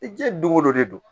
I diɲɛ don go don de don